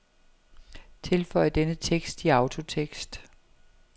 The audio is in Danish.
Tilføj denne tekst i autotekst.